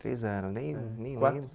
Três anos, nem é nem lembro quatro